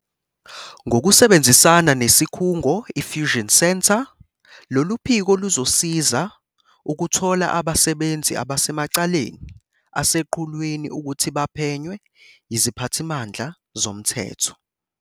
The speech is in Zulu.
Ngokusebenzisana nesikhungo iFusion Centre, lolu phiko luzosiza ukuthola abasebenzi abasemacaleni aseqhulwini ukuthi baphenywe yiziphathimandla zomthetho.